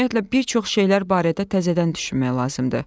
Ümumiyyətlə, bir çox şeylər barədə təzədən düşünmək lazımdır.